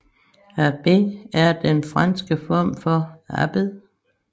Abbé er den franske form af abbed